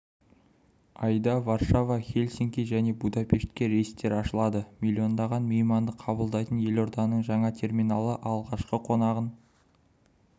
айда варшава хельсинки және будапештке рейстер ашылады миллиондаған мейманды қабылдайтын елорданың жаңа терминалы алғашқы қонағын